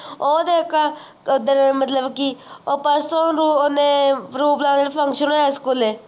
function ਹੋਇਆ school ਏ